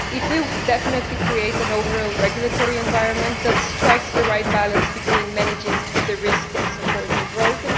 It will definitely create an overall regulatory environment that strikes the right balance between managing risk and supporting growth.